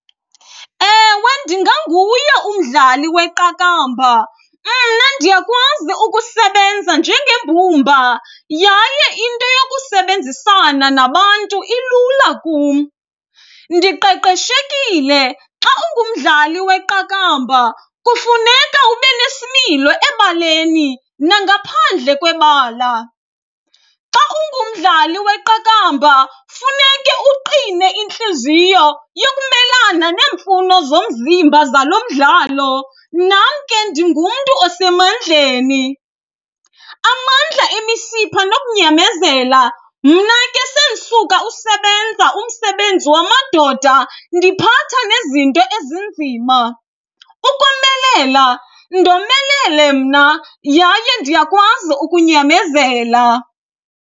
Ewe, ndinganguye umdlali weqakamba. Mna ndiyakwazi ukusebenza njengembumba yaye into yokusebenzisana nabantu ilula kum. Ndiqeqeshekile, xa ungumdlali weqakamba kufuneka ube nesimilo ebaleni nangaphandle kwebala. Xa ungumdlali weqakamba funeke uqine intliziyo yokumelana neemfuno zomzimba zalo mdlalo. Nam ke ndingumntu osemandleni. Amandla, imisipha nokunyamezela, mna ke sendisuka usebenza umsebenzi wamadoda ndiphatha nezinto ezinzima. Ukomelela, ndomelele mna yaye ndiyakwazi ukunyamezela.